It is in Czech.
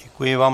Děkuji vám.